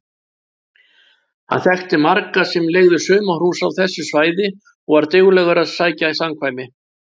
Hann þekkti marga sem leigðu sumarhús á þessu svæði og var duglegur að sækja samkvæmi.